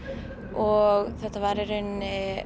og þetta var í rauninni